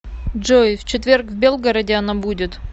джой в четверг в белгороде она будет